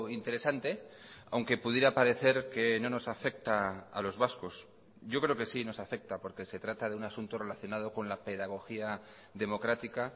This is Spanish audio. interesante aunque pudiera parecer que no nos afecta a los vascos yo creo que sí nos afecta porque se trata de un asunto relacionado con la pedagogía democrática